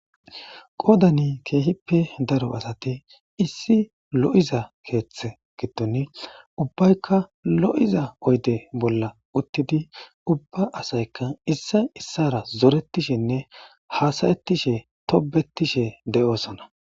qoodani keehippe daro asati issi lo7iza keeththe giddon ubbaykka lo7iza oyde bolla uttidi ubba asayka issa issara zoretishenne haasayettishe tobettishe de7osana